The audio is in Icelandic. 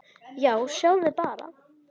Já, sjáðu bara!